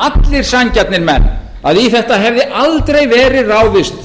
allir sanngjarnir menn að í þetta hefði aldrei verið ráðist